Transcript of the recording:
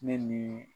Ne ni